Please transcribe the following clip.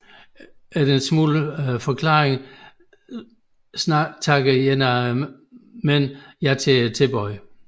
Efter lidt forklaring takker en af mændene ja til tilbuddet